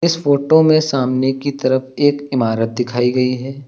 इस फोटो में सामने की तरफ एक इमारत दिखाई गई है।